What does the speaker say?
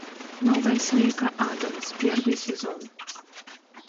новая семейка адамс первый сезон